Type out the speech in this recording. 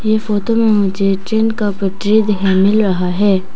ये फोटो में मुझे ट्रेन का पटरी देखने को मिल रहा है।